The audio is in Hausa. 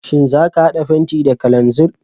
Shin za ka hada fenti da kananzir?